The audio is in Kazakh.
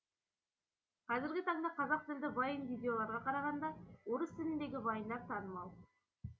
қазіргі таңда қазақ тілді вайн видеоларға қарағанда орыс тіліндегі вайндар танымал